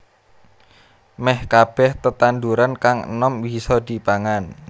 Meh kabèh tetanduran kang enom bisa dipangan